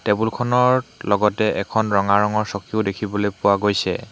টেবুলখনৰ লগতে এখন ৰঙা ৰঙৰ চকীও দেখিবলে পোৱা গৈছে।